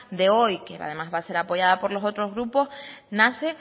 de hoy que además va a ser apoyada por los otros grupos nace